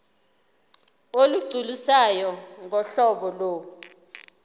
olugculisayo ngohlobo lo